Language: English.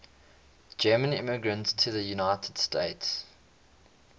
german immigrants to the united states